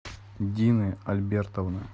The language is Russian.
дины альбертовны